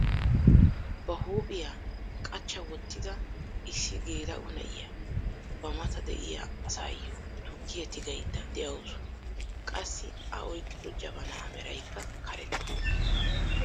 ba huuphphiyaa qachcha wottida issi geela'o na'iyaa ba mata de'iyaa asayoo tukkiyaa tigayda de'awus. qassi a oyqqido jabanaa meraykka karetta.